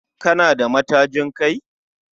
Kana da matajin Kai?